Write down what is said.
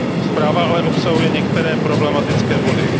Zpráva ale obsahuje některé problematické body.